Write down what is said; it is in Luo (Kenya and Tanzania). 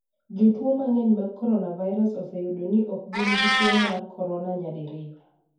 Jotuo mang'eny mag coronavirus oseyudo ni ok gin gi tuo mar corona nyadiriyo.